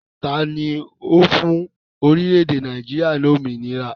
Taàní ó fún orílẹ̀ èdè Nàìjíríà ni òmìnira?